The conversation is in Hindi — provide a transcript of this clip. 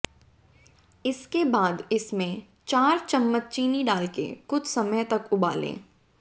इसके बाद इसमें चार चम्मच चीनी डाल के कुछ समय तक उबालें